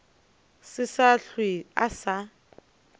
se sa hlwe a sa